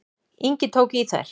Ingi tók í þær.